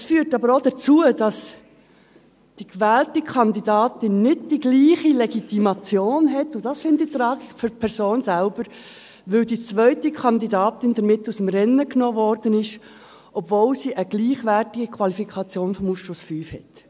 Es führt aber auch dazu, dass die gewählte Kandidatin nicht die gleiche Legitimation hat – und das finde ich die Tragik für die Person selber –, weil die zweite Kandidatin damit aus dem Rennen genommen wurde, obwohl sie eine gleichwertige Qualifikation des Ausschusses V hat.